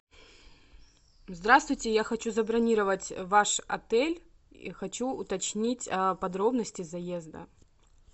здравствуйте я хочу забронировать ваш отель и хочу уточнить подробности заезда